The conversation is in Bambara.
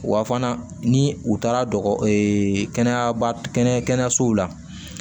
Wa fana ni u taara kɛnɛyasow la